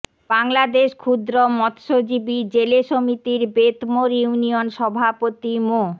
বাংলাদেশ ক্ষুদ্র মৎস্যজীবি জেলে সমিতির বেতমোর ইউনিয়ন সভাপতি মো